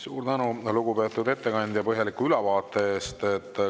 Suur tänu, lugupeetud ettekandja, põhjaliku ülevaate eest!